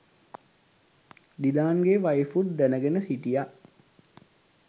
ඩිලාන්ගේ වයිෆුත් දැනගෙන හිටිය